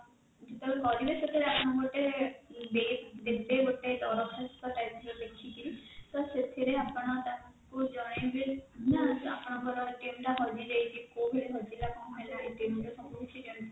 ଯେତେବେଳେ କରିବେ ସେତେବେଳେ ଆପଣଙ୍କୁ ଗୋଟେ ଦେବେ ଗୋଟେ ଦରଖାସ୍ତ type ର ଲେଖିକି ତ ସେଥିରେ ଆପଣ ତାକୁ ଜଣାଇବେ ଆପଣଙ୍କର ଟା ହଜିଯାଇଛି ତ କଉଥିରେ ହଜିଲା କଣ ହେଲା ରେ ସବୁ କିଛି